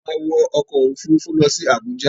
A má wọ ọkọ̀ Òfurufú lọ sí Àbújá.